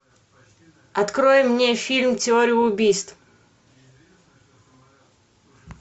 открой мне фильм теория убийств